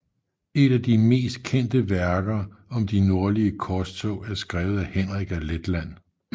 Et af de mest kendte værker om de nordlige korstog er skrevet af Henrik af Letland